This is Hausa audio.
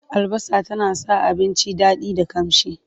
Albasa tana sa abinci daɗi da ƙamshi.